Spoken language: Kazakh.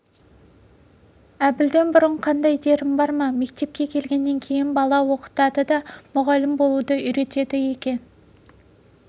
әбілден бұрын қандай дерің бар ма мектепке келгеннен кейін бала оқытады да мұғалім болуды үйренеді екен